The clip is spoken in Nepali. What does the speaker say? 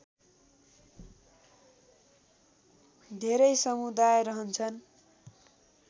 धेरै समुदाय रहन्छन्